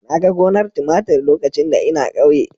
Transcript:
Na ga gonar tumatir lokacin da ina ƙauye.